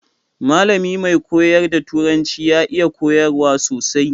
Mallami mai koyar da turanci ya iya koyarwa sosai.